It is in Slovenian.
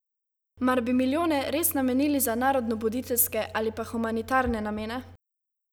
Mar bi milijone res namenili za narodnobuditeljske ali pa humanitarne namene?